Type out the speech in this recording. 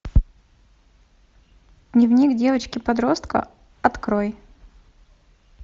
дневник девочки подростка открой